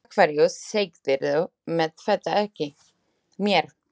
Af hverju sagðirðu mér þetta ekki?